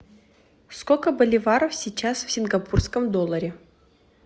сколько боливаров сейчас в сингапурском долларе